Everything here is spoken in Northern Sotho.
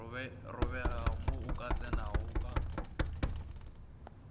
robega mo o tsenago ka